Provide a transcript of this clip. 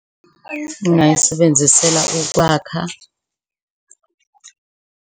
Ngingayisebenzisela ukwakha.